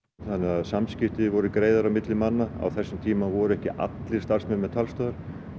þannig að samskipti voru greiðari á milli manna á þessum tíma voru ekki allir starfsmenn með talstöðvar